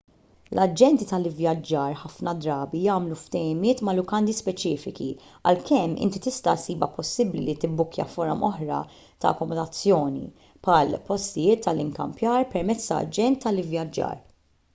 l-aġenti tal-ivvjaġġar ħafna drabi jagħmlu ftehimiet ma' lukandi speċifiċi għalkemm inti tista' ssibha possibbli li tibbukkja forom oħra ta' akkomodazzjoni bħal postijiet tal-ikkampjar permezz ta' aġent tal-ivvjaġġar